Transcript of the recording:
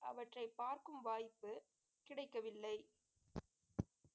அவற்றை பார்க்கும் வாய்ப்பு கிடைக்கவில்லை